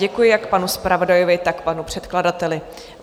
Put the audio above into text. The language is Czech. Děkuji jak panu zpravodajovi, tak panu předkladateli.